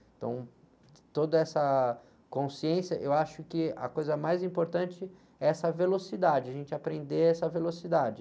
Então, toda essa consciência, eu acho que a coisa mais importante é essa velocidade, a gente aprender essa velocidade.